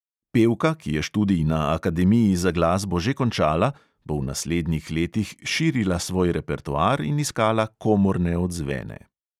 Pevka, ki je študij na akademiji za glasbo že končala, bo v naslednjih letih širila svoj repertoar in iskala komorne odzvene.